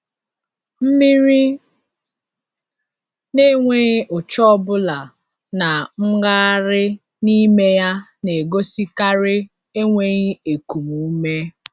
Mmiri n’enweghị ụcha ọbụla na mmgharị n’ime ya na-egosikarị enweghi ekum ume.